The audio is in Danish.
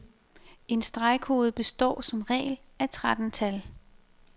En stregkode består som regel af tretten tal.